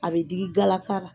A bɛ digi galaka la.